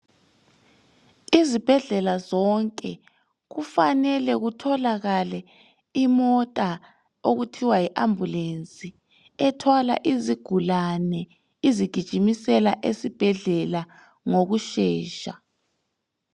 Izibhedlela zonke kufanele kutholakale imota okuthiwa yi ambulensi ethwala izigulane izigijimisela esibhedlela ngokushesha.